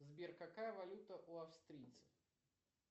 сбер какая валюта у австрийцев